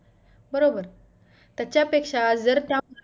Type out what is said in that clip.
बरोबर त्याच्यापेक्षा जर त्या